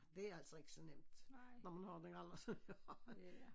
Det altså ikke så nemt når man har den alder som jeg har